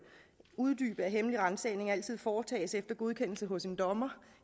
uddybe at hemmelig ransagning altid foretages efter godkendelse hos en dommer